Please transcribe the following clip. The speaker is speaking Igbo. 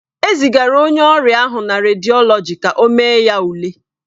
E zigara onye ọrịa ahụ na rediọlọji ka ọ mee ya ule.